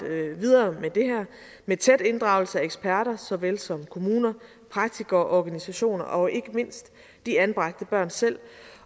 videre med det her med tæt inddragelse af eksperter såvel som kommuner praktikere og organisationer og ikke mindst de anbragte børn selv